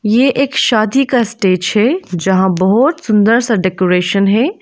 ये एक शादी का स्टेज है जहां बहोत सुंदर सा डेकोरेशन है।